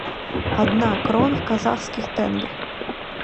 одна крон в казахских тенге